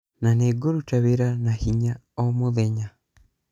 Na nĩgũruta wĩra na hinya ũũ mũthenya.